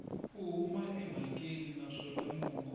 u huma emhakeni naswona mongo